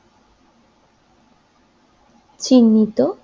চিহ্নিত